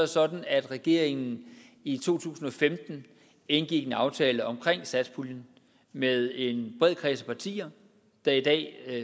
sådan at regeringen i to tusind og femten indgik en aftale om satspuljen med en bred kreds af partier der i dag